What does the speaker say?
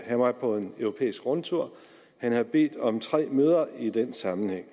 han var på en europæisk rundtur han havde bedt om tre møder i den sammenhæng